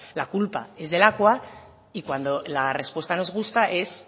la culpa es de lakua y cuando la respuesta nos gusta es